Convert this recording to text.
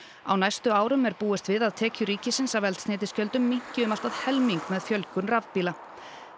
á næstu árum er búist við að tekjur ríkisins af eldsneytisgjöldum minnki um allt að helming með fjölgun rafmagnsbíla